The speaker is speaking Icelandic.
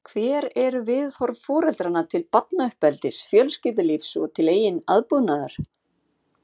Hver eru viðhorf foreldranna til barnauppeldis, fjölskyldulífs og til eigin aðbúnaðar?